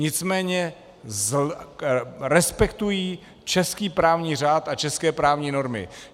Nicméně respektují český právní řád a české právní normy.